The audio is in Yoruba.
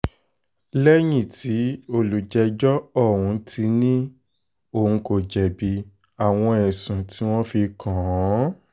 lẹ́yìn tí olùjẹ́jọ́ ọ̀hún ti ní òun kò jẹ̀bi àwọn ẹ̀sùn tí wọ́n fi kàn án onídàájọ́ f